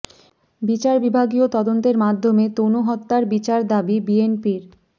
বিচার বিভাগীয় তদন্তের মাধ্যমে তনু হত্যার বিচার দাবি বিএনপির